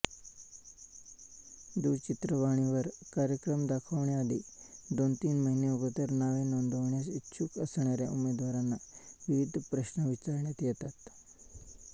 दूरचित्रवाणीवर कार्यक्रम दाखवण्याआधी दोनतीन महिने अगोदर नावे नोंदवण्यास इच्छुक असणाऱ्या उमेदवारांना विविध प्रश्न विचारण्यात येतात